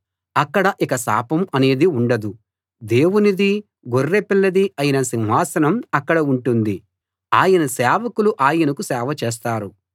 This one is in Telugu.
అక్కడ ఇక శాపం అనేది ఉండదు దేవునిదీ గొర్రెపిల్లదీ అయిన సింహాసనం అక్కడ ఉంటుంది ఆయన సేవకులు ఆయనకు సేవ చేస్తారు